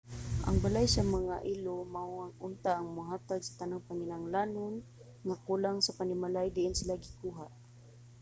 ang balay sa mga ilo mao unta ang mohatag sa tanang panginahanglanon nga kulang sa panimalay diin sila gikuha